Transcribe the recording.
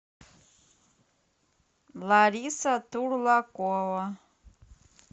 лариса турлакова